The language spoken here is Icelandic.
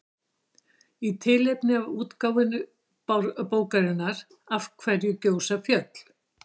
Í tilefni af útgáfu bókarinnar Af hverju gjósa fjöll?